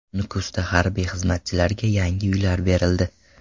Nukusda harbiy xizmatchilarga yangi uylar berildi.